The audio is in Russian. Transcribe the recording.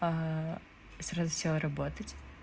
сразу сел работать